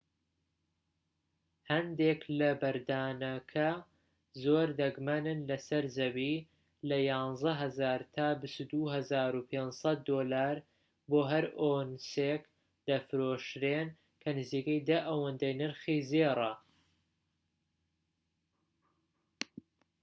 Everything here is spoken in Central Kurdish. هەندێک لەو بەردانە کە زۆر دەگمەنن لەسەر زەوی لە 11,000 تا 22,500 دۆلار بۆ هەر ئۆنسێک دەفرۆشرێن کە نزیکەی دە ئەوەندەی نرخی زێڕە